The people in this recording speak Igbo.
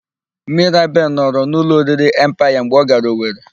Mirabel nọrọ n'ụlọ oriri Empaya mgbe ọ gara Owere.